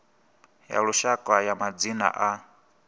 ya lushaka ya madzina a